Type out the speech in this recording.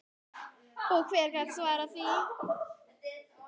Og hver gat svarað því?